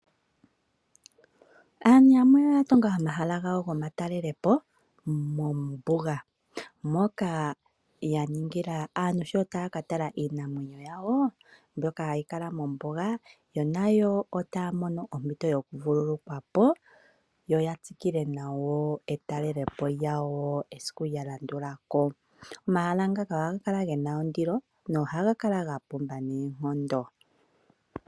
Aantu yamwe oya tunga omahala gawo gomatalelopo mombuga, moka yaningila aantu sho taya ka tala iinamwenyo yawo mbyoka hayi kala mombuga, yo nayo otaya mono ompito yokuvululukwapo, yo yatsikile nawa etalelopo lyawo esiku lya landula. Omahala ngaka ohaga kala gena ondilo na ohaga kala gapumba noonkondo.